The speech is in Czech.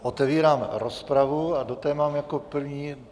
Otevírám rozpravu a do té mám jako první...